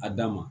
A dan ma